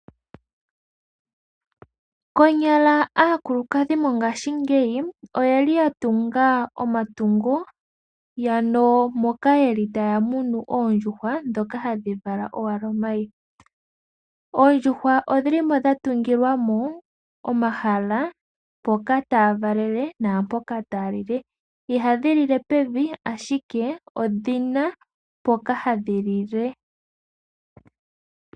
Konyala aakulukadhi mongashingeyi oye li ya tunga omatungo ano moka yeli taya tekula oondjuhwa ndhoka hadhi vala owala omayi. Oondjuhwa odhili mo dhatungilwa mo omahala mpoka tadhi valele naampoka tadhi lile. Ihadhi lile pevi ashike odhina mpoka hadhi lile.